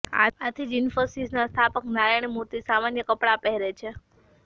આથી જ ઈન્ફોસિસના સ્થાપક નારાયણ મૂર્તિ સામાન્ય કપડાં પહેરે છે